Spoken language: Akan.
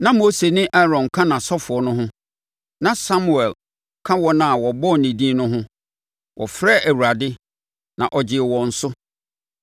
Na Mose ne Aaron ka nʼasɔfoɔ no ho, na Samuel ka wɔn a wɔbɔɔ ne din no ho; wɔfrɛɛ Awurade, na ɔgyee wɔn so.